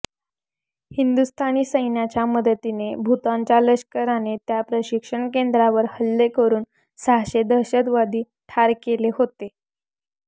हिंदुस्थानी सैन्याच्या मदतीने भूतानच्या लष्कराने त्या प्रशिक्षण केंद्रांवर हल्ले करून सहाशे दहशतवादी ठार केले होते